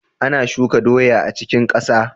Ana shuka doya a cikin kasa.